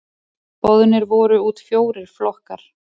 Boðnir voru út fjórir flokkar.